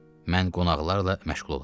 Mən qonaqlarla məşğul olaram.